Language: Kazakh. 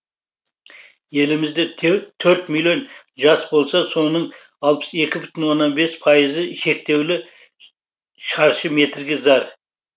елімізде төрт миллион жас болса соның алпыс екі бүтін оннан екі пайызы шектеулі шаршы метрге зар